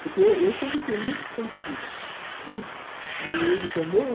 Porque eu sempre fui muito expansiva, né, e ele também.